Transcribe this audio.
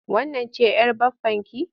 Wannan ce'yar baffanki?